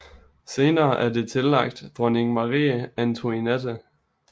Senere er det tillagt dronning Marie Antoinette